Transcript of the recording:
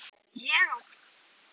Ég á mitt.